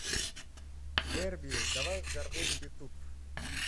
верби давай взорвем ютуб